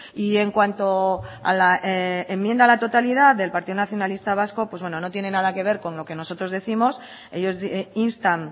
y en cuanto a la enmienda a la totalidad del partido nacionalista vasco pues bueno no tiene nada que ver con lo que nosotros décimos ellos instan